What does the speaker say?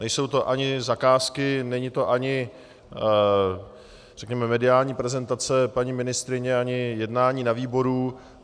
Nejsou to ani zakázky, není to ani řekněme mediální prezentace paní ministryně, ani jednání na výboru.